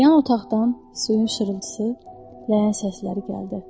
Yan otaqdan suyun şırıltısı, ləyən səsləri gəldi.